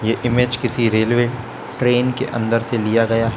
यह इमेज किसी railway train के अंदर से लिया गया--